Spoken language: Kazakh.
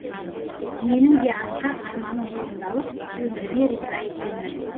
менің де асқақ арманым орындалып өміріме риза екенмін